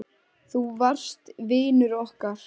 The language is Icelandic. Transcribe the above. Þú varst vinur okkar.